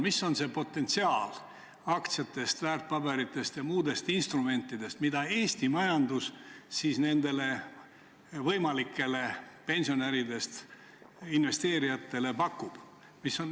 Millised on need potentsiaalsed aktsiad, väärtpaberid ja muud instrumendid, mida Eesti majandus pensionäridest investeerijatele pakub?